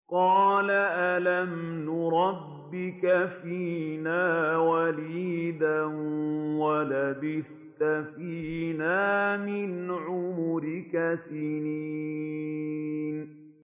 قَالَ أَلَمْ نُرَبِّكَ فِينَا وَلِيدًا وَلَبِثْتَ فِينَا مِنْ عُمُرِكَ سِنِينَ